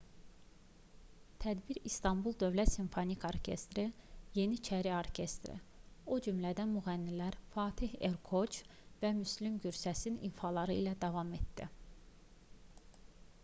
tədbir i̇stanbul dövlət simfonik orkestri yeniçəri orkestri o cümlədən müğənnilər fatih erkoç və müslüm gursəsin ifaları ilə davam etdi